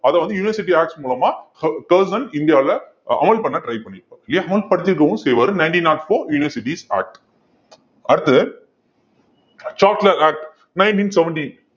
அதை வந்து university acts மூலமா இந்தியாவுல அ~ அமல் பண்ண try பண்ணியிரு~ இல்லையா அமல் படுத்திருக்கவும் செய்வாரு nineteen not four universities act அடுத்தது சாட்லர் act nineteen seventeen